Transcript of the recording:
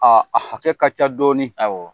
Aa a hakɛ ka ca dɔɔni; Awɔ!